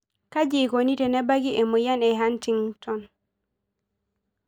Kaji eikoni tenebaki emoyian e Huntington?